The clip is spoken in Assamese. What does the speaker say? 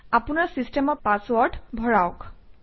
আপোনৰ চিচটেমৰ পাছৱৰ্ড ভৰাওক